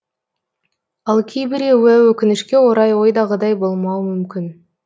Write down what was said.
ал кейбіреуі өкінішке орай ойдағыдай болмауы мүмкін